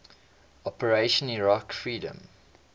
operation iraqi freedom